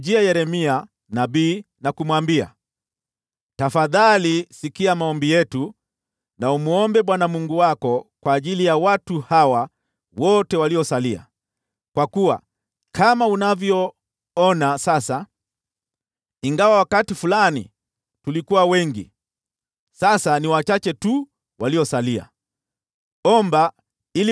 Yeremia nabii na kumwambia, “Tafadhali sikia maombi yetu na umwombe Bwana Mungu wako kwa ajili ya watu hawa wote waliosalia. Kwa kuwa kama unavyoona sasa, ingawa wakati fulani tulikuwa wengi, sasa tumesalia wachache tu.